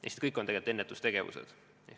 Eks need kõik on tegelikult ennetustegevused.